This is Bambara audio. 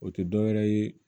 O tɛ dɔwɛrɛ ye